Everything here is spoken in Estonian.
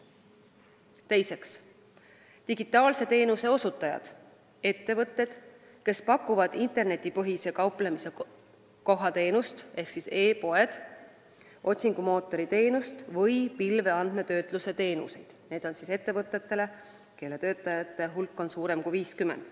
Teiseks, digitaalse teenuse osutajad – ettevõtted, kes pakuvad internetipõhise kauplemiskoha teenust , otsingumootori teenust või pilveandmetöötluse teenuseid ettevõtetele, kelle töötajate hulk on suurem kui 50.